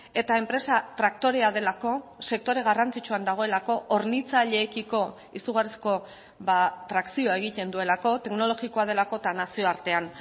eta enpresa traktorea delako sektore garrantzitsuan dagoelako hornitzaileekiko izugarrizko trakzioa egiten duelako teknologikoa delako eta nazioartean